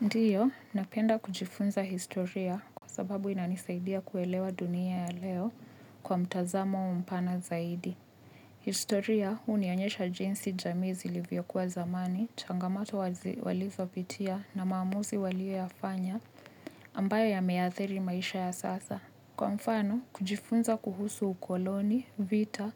Ndiyo, napenda kujifunza historia kwa sababu inanisaidia kuelewa dunia ya leo kwa mtazamo mpana zaidi. Historia, hunionyesha jinsi jamii zilivyokuwa zamani, changamato walizopitia na maamuzi walio yafanya ambayo yameathiri maisha ya sasa. Kwa mfano, kujifunza kuhusu ukoloni, vita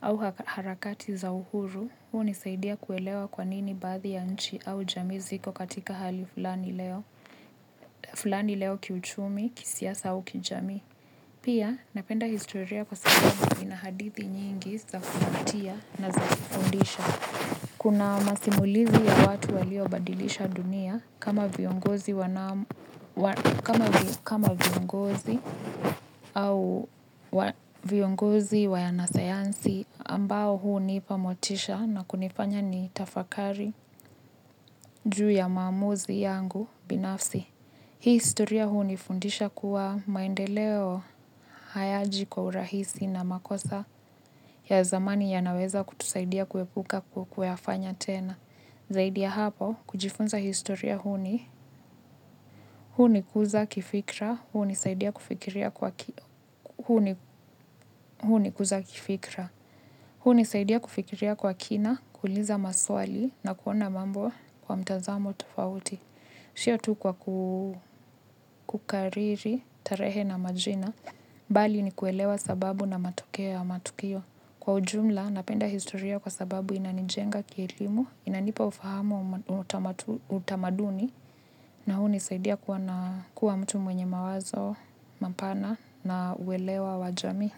au harakati za uhuru, hunisaidia kuelewa kwa nini baadhi ya nchi au jamii ziko katika hali fulani leo. Fulani leo kiuchumi, kisiasa au kijamii. Pia, napenda historia kwasababu ina hadithi nyingi za kuvutia na za kufundisha. Kuna masimulizi ya watu waliobadilisha dunia kama viongozi au viongozi wanasayansi ambao hunipa motisha na kunifanya nitafakari juu ya maamuzi yangu binafsi. Hii historia hunifundisha kuwa maendeleo hayaji kwa urahisi na makosa ya zamani yanaweza kutusaidia kuepuka kuyafanya tena. Zaidia hapa kujifunza historia huni, huni kuza kifikra, huni saidia kufikiria kwa kina, kuuliza maswali na kuona mambo kwa mtazamo tofauti. Sio tu kwa kukariri tarehe na majina, bali ni kuelewa sababu na matokeo ya matukio. Kwa ujumla, napenda historia kwa sababu inanijenga kielimu, inanipa ufahamu utamaduni, na hunisaidia kuwa mtu mwenye mawazo, mapana, na uelewa wa jamii.